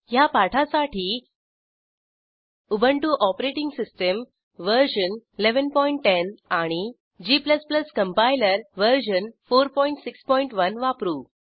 ह्या पाठासाठी Ubuntu OS version 1110 आणि g कंपाइलर वर्जन 461 वापरू